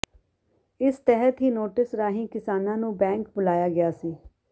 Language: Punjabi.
ਇਸ ਤਹਿਤ ਹੀ ਨੋਟਿਸ ਰਾਹੀਂ ਕਿਸਾਨਾਂ ਨੂੰ ਬੈਂਕ ਬੁਲਾਇਆ ਗਿਆ ਸੀ